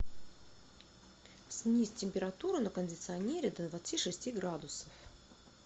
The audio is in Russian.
снизь температуру на кондиционере до двадцати шести градусов